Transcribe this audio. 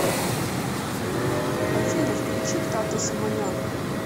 афина включи тата симонян